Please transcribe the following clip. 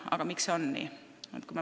Aga miks see on nii?